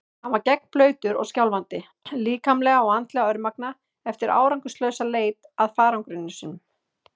Hann var gegnblautur og skjálfandi, líkamlega og andlega örmagna eftir árangurslausa leit að farangri sínum.